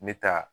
Me taa